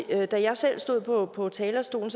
da jeg selv stod på talerstolen